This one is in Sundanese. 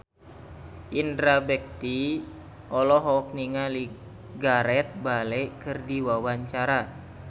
Indra Bekti olohok ningali Gareth Bale keur diwawancara